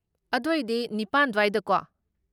ꯑꯗꯣꯏꯗꯤ ꯅꯤꯄꯥꯟ ꯗ꯭ꯋꯥꯏꯗꯀꯣ?